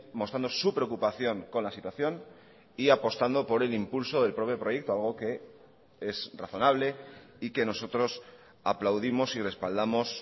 mostrando su preocupación con la situación y apostando por el impulso del propio proyecto algo que es razonable y que nosotros aplaudimos y respaldamos